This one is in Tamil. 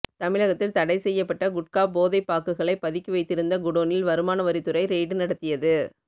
தமிழகத்தில் தடைசெய்யப்பட்ட குட்கா போன்ற போதை பாக்குகளைப் பதுக்கி வைத்திருந்த குடோனில் வருமானவரித் துறை ரெய்டு நடத்தியது